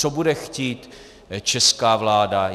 Co bude chtít česká vláda?